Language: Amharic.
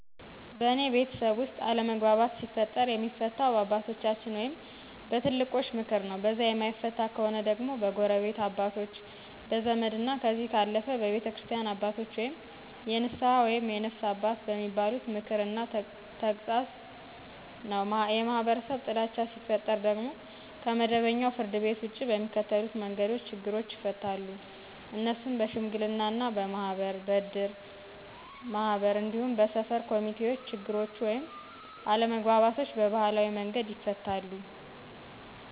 በእኔ ቤተሰብ ውስጥ አለመግባባት ሲፈጠር የሚፈታው በአባቶቻችን ወይም በትልቆች ምክር ነው። በዛ የማይፈታ ከሆነ ደግሞ በጎረቤት አባቶች, በዘመድ ,እና ከዚህ ካለፈ በቤተክርስቲያን አባቶች ወይም የንስሀ ወይም የነፍስ አባት በሚባሉት ምክር እና ተግሳጥ ነው። የማህበረሰብ ጥላቻ ሲፈጠር ደግሞ ከመደበኛው ፍርድቤት ውጭ በሚከተሉት መንገዶች ችግሮች ይፈታሉ። እነሱም:-በሽምግልና, በማህበር, በእድር ማህበር እንዲሁም በሰፈር ኮሚቴዎች ችግሮቹ ወይም አለመግባባቶች በባህላዊ መንገድ ይፈታሉ።